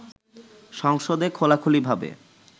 সংসদে খোলাখুলিভাবে